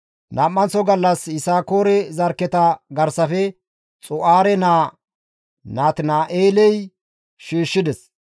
Nam7anththo gallas Yisakoore zarkketa garsafe Xu7aare naa Natina7eeley shiishshides.